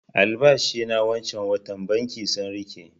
Albashi na wancan watan banki sun riƙe